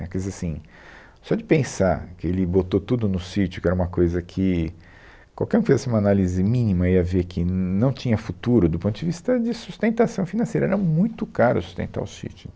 Né, quer dizer assim, só de pensar que ele botou tudo no sítio, que era uma coisa que qualquer um que fizesse uma análise mínima ia ver que não tinha futuro do ponto de vista de sustentação financeira, era muito caro sustentar o sítio.